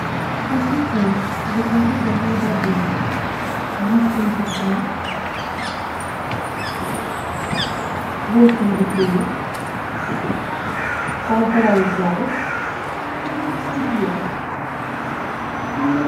ассистент закажи домой воды ессентуки восемь бутылок полуторалитровых в стекле